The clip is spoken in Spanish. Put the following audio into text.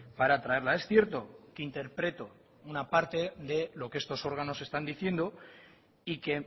para traerla es cierto que interpreto una parte de lo que estos órganos están diciendo y que